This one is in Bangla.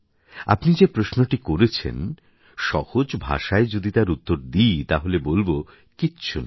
আপনি যে প্রশ্নটি করেছেন সহজ ভাষায় যদি তার উত্তর দিই তাহলে বলব কিচ্ছু না